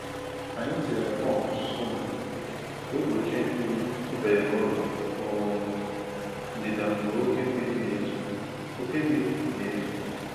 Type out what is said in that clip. Anyị tinyere pọmpụ sump ka ọ gbochie mmiri ịbanye n’ụlọ um ndịda mgbe oké mmiri na-ezo. oké mmiri na-ezo.